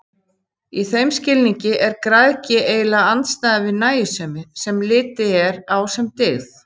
Í þeim skilningi er græðgi eiginlega andstæðan við nægjusemi, sem litið er á sem dygð.